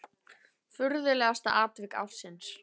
Furðulegasta atvik ársins?